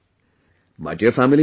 My dear family members